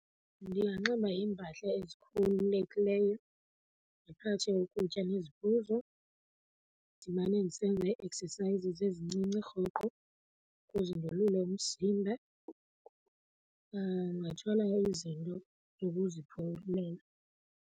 Ndinganxiba iimpahla ezikhululekileyo, ndiphathe ukutya neziphuzo, ndimane ndisenza ii-exercises ezincinci rhoqo ukuze ndolule umzimba. Ndingathwala izinto zokuziphumlela.